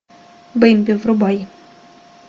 бэмби врубай